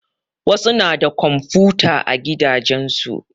Wasu na da komfuta a gidajen su.